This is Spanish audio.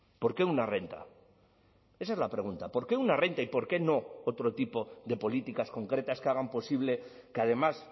por qué una renta esa es la pregunta por qué una renta y por qué no otro tipo de políticas concretas que hagan posible que además